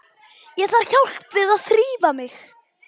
Ég þarf hjálp við að þrífa mig.